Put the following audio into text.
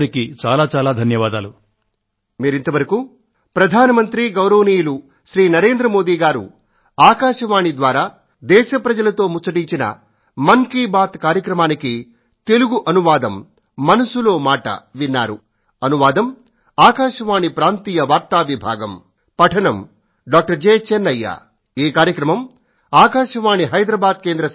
మీ అందరికీ అనేకానేక ధన్యవాదాలు